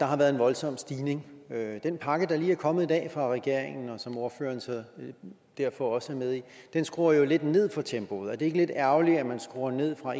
har været en voldsom stigning den pakke der lige er kommet i dag fra regeringen og som ordføreren derfor også er med i skruer jo lidt ned for tempoet er det ikke lidt ærgerligt at man skruer ned fra